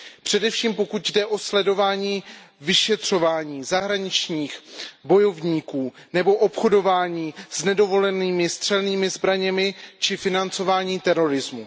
Především pokud jde o sledování vyšetřování zahraničních bojovníků nebo obchodování s nedovolenými střelnými zbraněmi či financování terorismu.